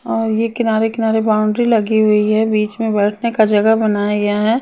और यह किनारे किनारे बाउंड्री लगी हुई है बीच में बैठने का जगह बनाया गया है।